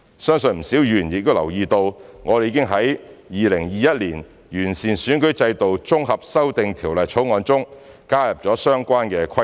相信不少議員亦已留意到，我們已經在《2021年完善選舉制度條例草案》中加入了相關的規定。